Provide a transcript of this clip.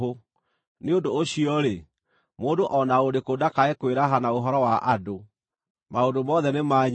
Nĩ ũndũ ũcio-rĩ, mũndũ o na ũrĩkũ ndakae kwĩraha na ũhoro wa andũ! Maũndũ mothe nĩ manyu,